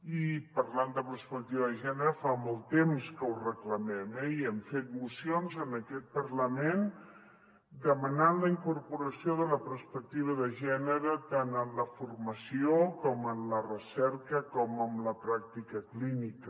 i parlant de perspectiva de gènere fa molt temps que ho reclamem eh i hem fet mocions en aquest parlament demanant la incorporació de la perspectiva de gènere tant en la formació com en la recerca com en la pràctica clínica